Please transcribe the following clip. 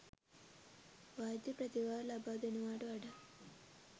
වෛද්‍ය ප්‍රතිකාර ලබා දෙනවාට වඩා